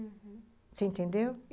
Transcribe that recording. Uhum, você entendeu?